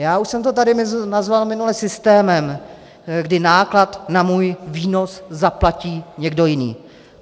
Já už jsem to tady nazval minule systémem, kdy náklad na můj výnos zaplatí někdo jiný.